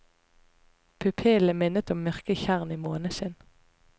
Pupillene minnet om mørke tjern i måneskinn.